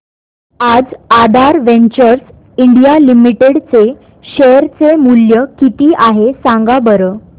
आज Aadhaar ventures India limited चे share चे मूल्य किती आहे सांगा बरं